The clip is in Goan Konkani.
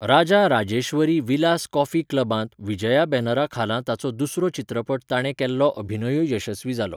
राजा राजेश्वरी विलास कॉफी क्लबांत विजया बॅनरा खाला ताचो दुसरो चित्रपट ताणें केल्लो अभिनयूय यशस्वी जालो.